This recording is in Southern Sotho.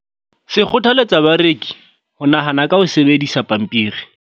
Se kgothaletsa bareki ho nahana ka ho sebedisa pampiri.